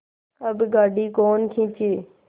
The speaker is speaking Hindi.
अब गाड़ी कौन खींचे